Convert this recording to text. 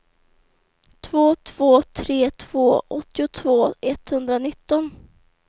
två två tre två åttiotvå etthundranitton